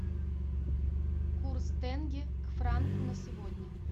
курс тенге к франку на сегодня